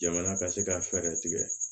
Jamana ka se ka fɛɛrɛ tigɛ